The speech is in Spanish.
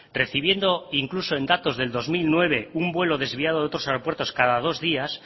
recibiendo incluso en datos del dos mil nueve un vuelo desviado de otros aeropuertos cada dos días